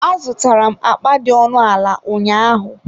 Azụtara m akpa dị ọnụ ala ụnyaahụ.